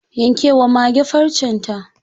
Yanke wa mage farcen ta.